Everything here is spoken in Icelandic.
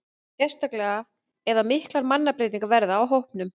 Sérstaklega ef að miklar mannabreytingar verða á hópnum.